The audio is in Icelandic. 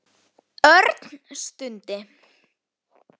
Örn stundi.